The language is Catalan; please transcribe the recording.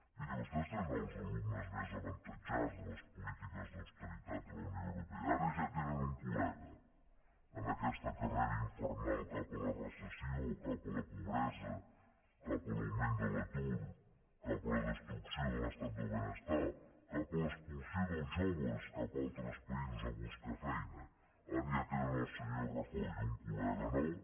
miri vostès tenen els alumnes més avantatjats de les polítiques d’austeritat de la unió europea ara ja tenen un col·sió cap a la pobresa cap a l’augment de l’atur cap a la destrucció de l’estat del benestar cap a l’expulsió dels joves cap a altres països a buscar feina ara ja tenen el senyor rajoy un col·lega nou